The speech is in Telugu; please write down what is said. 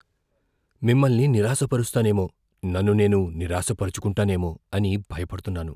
మిమ్మల్ని నిరాశపరుస్తానేమో, నన్ను నేను నిరాశాపరుచుకుంటానేమో అని భయపడుతున్నాను.